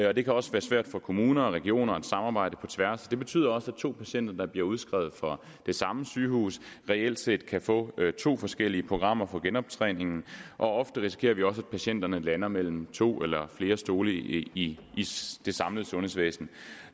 og det kan også være svært for kommuner og regioner at samarbejde på tværs det betyder også at to patienter der bliver udskrevet fra det samme sygehus reelt set kan få to forskellige programmer for genoptræning og ofte risikerer vi også at patienterne lander mellem to eller flere stole i det samlede sundhedsvæsen